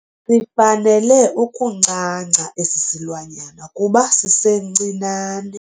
Sifanele ukuncanca esi silwanyana kuba sisencinane.